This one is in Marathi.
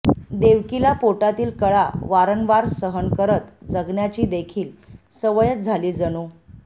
देवकीला पोटातील कळा वारंवार सहन करत जगण्याचीदेखील सवयच झाली जणू